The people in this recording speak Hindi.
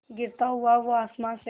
गिरता हुआ वो आसमां से